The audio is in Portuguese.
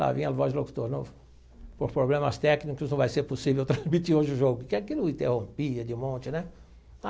Lá vinha a voz do locutor de novo, por problemas técnicos não vai ser possível transmitir hoje o jogo, que aquilo interrompia de um monte, né?